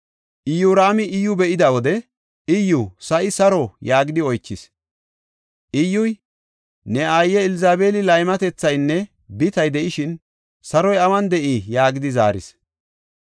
Iyoraami Iyyu be7ida wode, “Iyyu, sa7i saro?” yaagidi oychis. Iyyuy, “Ne aaye Elzabeeli laymatethaynne bitay de7ishin, saroy awun de7ii?” yaagidi zaaris.